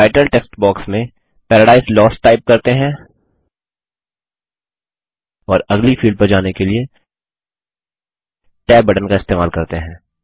title text box में paradise lost type करते हैं और अगली फ़ील्ड पर जाने के लिए tab बटन का इस्तेमाल करते हैं